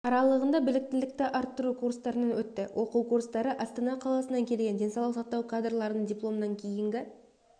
аралығында біліктілікті арттыру курстарынан өтті оқу курстары астана қаласынан келген денсаулық сақтау кадрларының дипломнан кейінгі